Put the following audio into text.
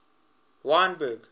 wynberg